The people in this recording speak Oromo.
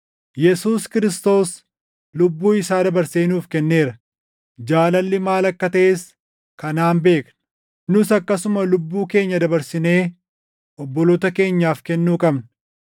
Yesuus Kiristoos lubbuu isaa dabarsee nuuf kenneera: Jaalalli maal akka taʼes kanaan beekna; nus akkasuma lubbuu keenya dabarsinee obboloota keenyaaf kennuu qabna.